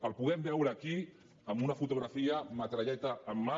el podem veure aquí en una fotografia metralleta en mà